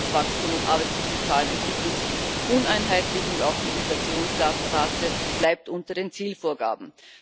Wirtschaftswachstum und Arbeitslosenzahlen entwickeln sich uneinheitlich, und auch die Inflationsrate bleibt unter den Zielvorgaben.